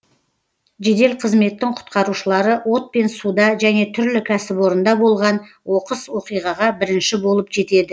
жедел қызметтің құтқарушылары от пен суда және түрлі кәсіпорында болған оқыс оқиғаға бірінші болып жетеді